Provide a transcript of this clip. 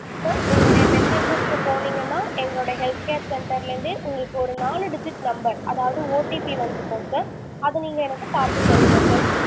sir உங்களுடைய messages க்கு போனிங்கனா எங்களோட health care center ல இருந்து உங்களுக்கு ஒரு நாலு digit number அதாவது OTP வந்துருக்கும் sir அத நீங்க எனக்கு பாத்து சொல்லுங்க sir